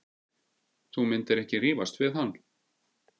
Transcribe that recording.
Þú myndir ekki rífast við hann.